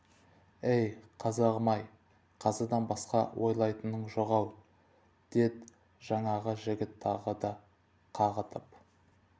әй қазағым-ай қазыдан басқа ойлайтының жоқ-ау дед жаңағы жігіт тағы да қағытып